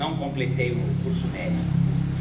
Não completei o curso médio. Uhum.